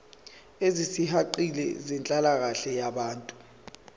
ezisihaqile zenhlalakahle yabantu